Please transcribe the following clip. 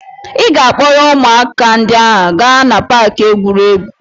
Ị ga-akpọrọ ụmụaka ndị a gaa na paaki egwuregwu.